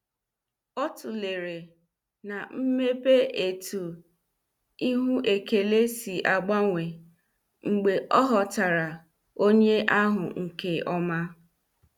Ọ tulere na mmepe etu ihu ekele si agbanwe mgbe ọ ghọtara onye ahụ nke ọma.